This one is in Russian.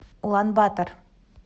улан батор